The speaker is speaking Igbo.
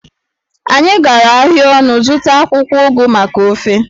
Anyị gara ahịa ọnụ zụta akwụkwọ ugu maka ofe